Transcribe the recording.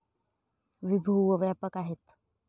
विभू व व्यापक आहेत.